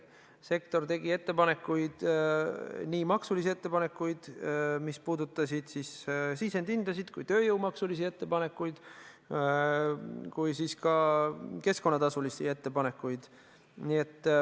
Sektor tegi ettepanekuid, nii maksuettepanekuid, mis puudutasid sisendite hindasid, kui ka tööjõumakse puudutanud ettepanekuid, samuti keskkonnatasusid puudutanud ettepanekuid.